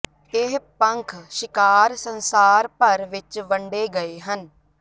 ਇਹ ਪੰਖ ਸ਼ਿਕਾਰ ਸੰਸਾਰ ਭਰ ਵਿਚ ਵੰਡੇ ਗਏ ਹਨ